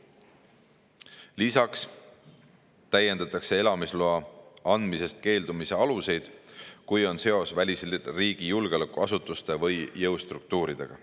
Lisaks täiendatakse elamisloa andmisest keeldumise aluseid, kui on seos välisriigi julgeolekuasutuste või jõustruktuuridega.